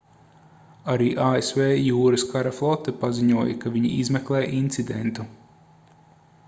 arī asv jūras kara flote paziņoja ka viņi izmeklē incidentu